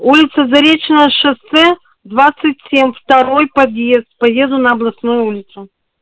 улица заречное шоссе двадцать семь второй подъезд поеду на областную улицу